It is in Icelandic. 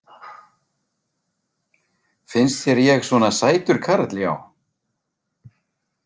Finnst þér ég svona sætur karl já.